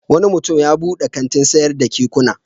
Wani mutum ya buɗe kantin sayar da kekuna.